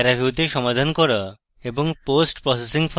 paraview তে সমাধান করা এবং post processing ফলাফল